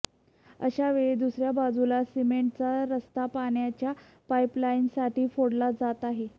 अशा वेळी दुसऱ्या बाजूला सिमेंटचा रस्ता पाण्याच्या पाइपलाइनसाठी फोडला जात आहे